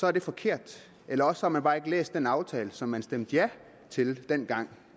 er det forkert eller også har man bare ikke læst den aftale som man stemte ja til dengang